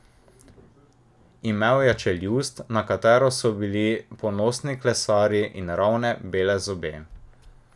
Imel je čeljust, na katero bi bili ponosni klesarji, in ravne, bele zobe.